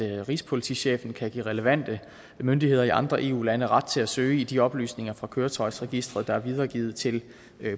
rigspolitichefen kan give relevante myndigheder i andre eu lande ret til at søge i de oplysninger fra køretøjsregisteret der er videregivet til